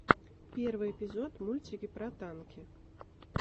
первый эпизод мультики про танки